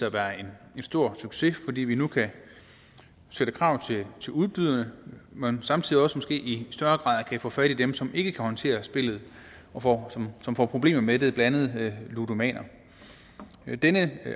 at være en stor succes fordi vi nu kan stille krav til udbyderne men samtidig også måske i større grad kan få fat i dem som ikke kan håndtere spillet og som får problemer med det blandt andet ludomaner denne